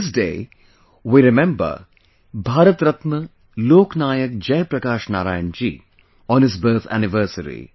This day, we remember Bharat Ratna Lok Nayak Jayaprakash Narayan ji on his birth anniversary